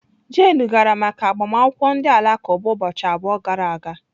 Jane gara maka agbamakwụkwọ ndị Alakụba ụbọchị abụọ gara aga.